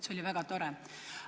See oli väga tore.